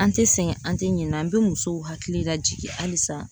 An tɛ sɛgɛn ,an tɛ ɲinɛ ,an bɛ musow hakili lajigin halisa.